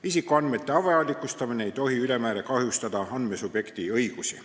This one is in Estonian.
Isikuandmete avalikustamine ei tohi ülemäära kahjustada andmesubjekti õigusi.